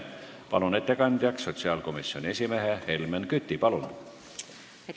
Palun ettekandeks kõnetooli sotsiaalkomisjoni esimehe Helmen Küti!